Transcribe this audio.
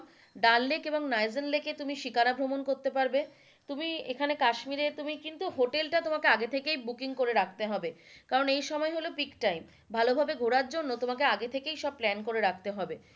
ডাল লেক এবং নাইজেন লেকে তুমি শিকারা ভ্রমণ করতে পারবে, তুমি এখানে কাশ্মীরে তুমি কিন্তু হোটেলটা আগে থেকেই বুকিং করে রাখতে হবে কারণ এই সময় হলো peak time ভালোভাবে ঘোরার জন্য তোমাকে আগে থেকেই সব plan করে রাখতে হবে,